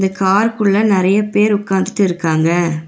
கார்க்குள்ள நெறைய பேர் உக்காந்துட்டு இருக்காங்க.